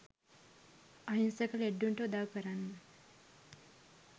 අහිංසක ලෙඩ්ඩුන්ට උදව් කරන්න